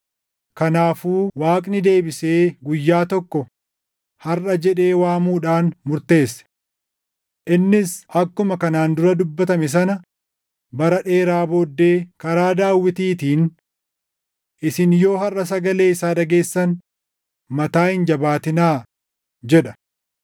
Kanaafuu Waaqni deebisee guyyaa tokko “Harʼa” jedhee waamuudhaan murteesse. Innis akkuma kanaan dura dubbatame sana bara dheeraa booddee karaa Daawitiitiin, “Isin yoo harʼa sagalee isaa dhageessan, mataa hin jabaatinaa” + dup 4:7 \+xt Far 95:7,8\+xt* jedha.